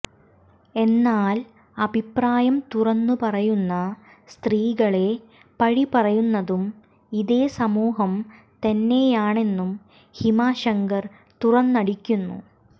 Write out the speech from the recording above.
എന്നാൽ അഭിപ്രായം തുറന്നു പറയുന്ന സ്ത്രീകളെ പഴി പറയുന്നതും ഇതേ സമൂഹം തന്നെയാണെന്നും ഹിമ ശങ്കർ തുറന്നടിക്കുന്നു